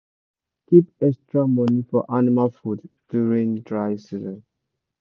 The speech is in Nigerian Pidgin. keep extra money for animal food during dry season